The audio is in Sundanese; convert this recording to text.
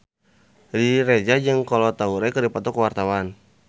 Riri Reza jeung Kolo Taure keur dipoto ku wartawan